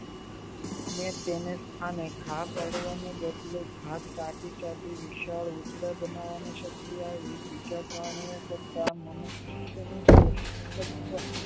ને તેને સ્થાને ઘા પાડવાનો બદલે હાથ ચાટી ચાટી સૌ ઉતાળ બનાવની છે બીજા પ્રાણી કરતા મનુષ્ય નું